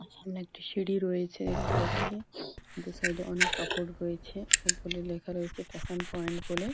সামনে একটি সিঁড়ি রয়েছে দেখতে পাচ্ছি। দু সাইড এ অনেক কাপড় রয়েছে ওপরে লেখা রয়েছে ফ্যাশন পয়েন্ট বলে।